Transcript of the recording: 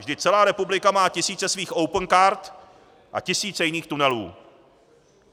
Vždyť celá republika má tisíce svých opencard a tisíce jiných tunelů.